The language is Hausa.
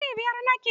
Aji biyar nake.